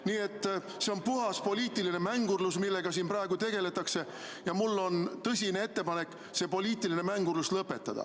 Nii et see on puhas poliitiline mängurlus, millega siin praegu tegeldakse, ja mul on tõsine ettepanek see poliitiline mängurlus lõpetada.